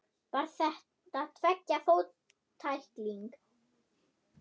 Var þetta tveggja fóta tækling?